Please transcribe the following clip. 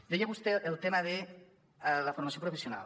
deia vostè el tema de la formació professional